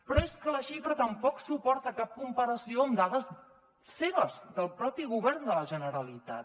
però és que la xifra tampoc suporta cap comparació amb dades seves del mateix govern de la generalitat